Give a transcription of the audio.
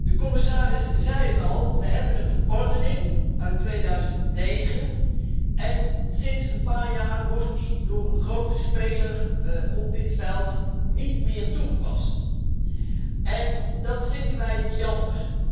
De commissaris zei het al we hebben een verordening uit 2009 en sinds een paar jaar wordt die door een grote speler op dit veld niet meer toegepast, en dat vinden wij jammer.